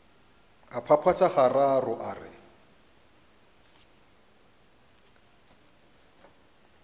a phaphatha gararo a re